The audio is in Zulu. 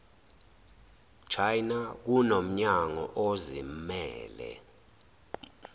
china kunomnyango ozimmele